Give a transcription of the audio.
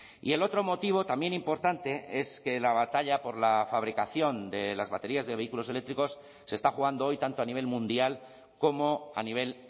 y el otro motivo también importante es que la batalla por la fabricación de las baterías de vehículos eléctricos se está jugando hoy tanto a nivel mundial como a nivel